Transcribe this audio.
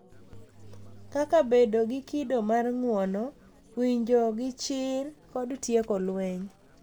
Kaka bedo gi kido mar ng'uono, winjo gi chir, kod tieko lweny.